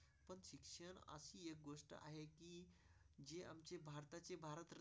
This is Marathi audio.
त्यांची भारत.